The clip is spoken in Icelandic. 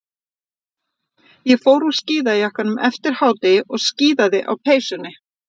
Ég fór úr skíðajakkanum eftir hádegi og skíðaði á peysunni.